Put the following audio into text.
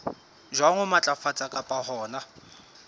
jwang ho matlafatsa kapa hona